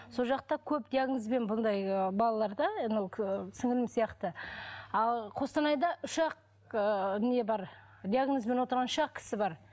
сол жақта көп диагнозбен мұндай балалар да анау сіңлілім сияқты ал қостанайда үш ақ ыыы не бар диагнозбен отырған үш ақ кісі бар